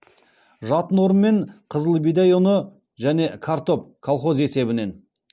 жатын орын мен қызыл бидай ұны және картоп колхоз есебінен